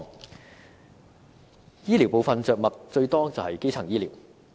在醫療部分，着墨最多的是基層醫療。